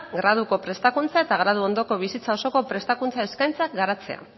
graduko prestakuntza eta graduondoko bizitza osoko prestakuntza eskaintza garatzea